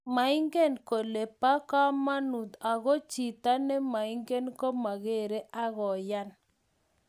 maingen kole bo kamanuut ago chito nemaingen komageere akoyaan